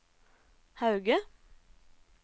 Hauge